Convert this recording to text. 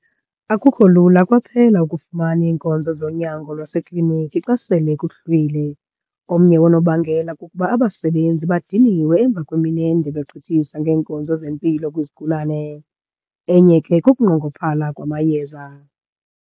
Akukho lula kwaphela ukufumana iinkonzo zonyango lwasekliniki xa sele kuhlwile. Omnye woonobangela kukuba abasebenzi badiniwe emva kwemini ende begqithisa ngeenkonzo zempilo kwizigulane. Enye ke kukunqongophala kwamayeza.